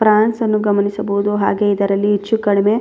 ಫ್ರಾನ್ಸನ್ನು ಗಮನಿಸಬಹುದು ಹಾಗೆ ಇದರಲ್ಲಿ ಹೆಚ್ಚು ಕಡಮೆ --